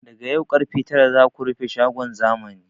Daga yau karfe tara za ku rufe shagon zamani!